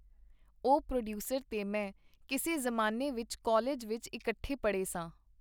ਉਹ ਪ੍ਰੋਡੀਊਸਰ ਤੇ ਮੈਂ ਕਿਸੇ ਜ਼ਮਾਨੇ ਕਾਲਿਜ ਵਿਚ ਇਕੱਠੇ ਪੜ੍ਹੇ ਸਾਂ.